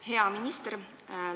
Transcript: Hea minister!